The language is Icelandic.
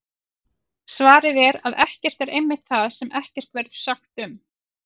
Svarið er að ekkert er einmitt það sem ekkert verður sagt um!